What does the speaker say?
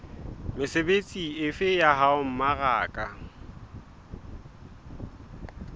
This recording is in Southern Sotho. mesebetsi efe ya ho mmaraka